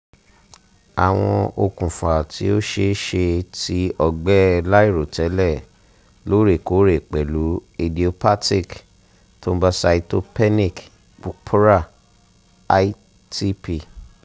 awọn okunfa ti o ṣee ṣe ti ọgbẹ lairotẹlẹ loorekoore pẹlu: idiopathic thrombocytopenic purpura itp